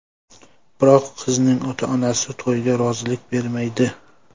Biroq qizning ota-onasi to‘yga rozilik bermaydi.